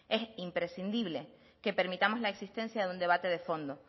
es imprescindible que permitamos la existencia de un debate de fondo